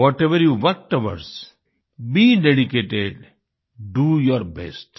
whatever you work towards be dedicated do your best